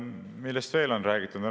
Millest veel on räägitud?